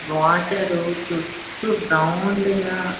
water round గా--